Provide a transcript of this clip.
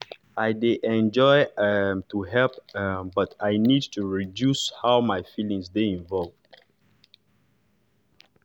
i de enjoy um to help um but i nid to reduce how my feelings dey involve